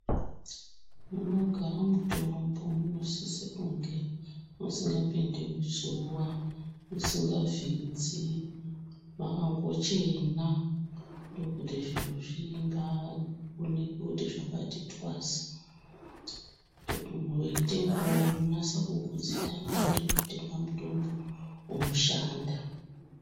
Munogara mutombo munosise kunge musingapindi zuwa, musingavhidzi, mwakangochena, ndokuti zviro zvimbaaonekwe kuti zvakati twasa, kuti munhu weitengawo unonasa kugutsikana kuti ndiri kutenga mutombo unoshanda.